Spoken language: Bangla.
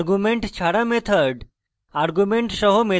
arguments ছাড়া method